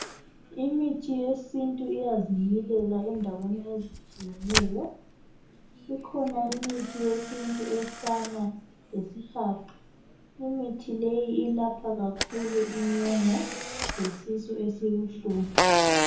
Imithi yesintu iyazimilela endaweni ezitshiyeneyo ikhona imithi yesintu efana lesihaqa. Imithi leyi ilapha kakhulu inyongo lesisu esibuhlungu.